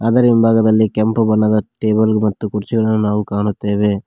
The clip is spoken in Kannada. ಆದರ ಹಿಂಭಾಗದಲ್ಲಿ ಕೆಂಪು ಬಣ್ಣದ ಟೇಬಲ್ ಮತ್ತು ಕುರ್ಚಿಗಳನ್ನು ನಾವು ಕಾಣುತ್ತೇವೆ.